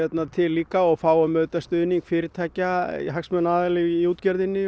til líka og fáum auðvitað stuðning fyrirtækja og hagsmunaaðila í útgerðinni